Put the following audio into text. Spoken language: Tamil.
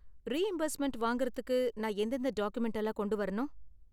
ரீஇம்பர்ஸ்மென்ட் வாங்கறத்துக்கு நான் எந்ததெந்த டாக்குமென்ட் எல்லாம் கொண்டு வரணும்?